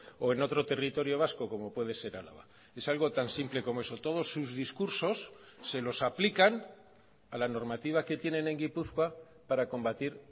o en otro territorio vasco como puede ser álava es algo tan simple como eso todos sus discursos se los aplican a la normativa que tienen en gipuzkoa para combatir